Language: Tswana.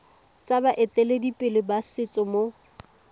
tsa baeteledipele ba setso mo